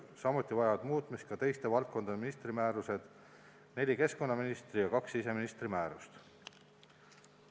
Samuti vajavad muutmist ka teiste valdkondade ministrite määrused: neli keskkonnaministri ja kaks siseministri määrust.